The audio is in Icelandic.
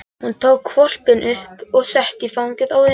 Hún tók hvolpinn upp og setti í fangið á Emil.